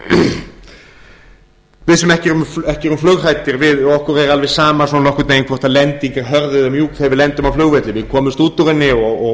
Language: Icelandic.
lendingu okkur sem ekki erum flughrædd er alveg sama svona nokkurn veginn hvort lending er hörð eða mjúk ef við lendum á flugvelli við komumst út úr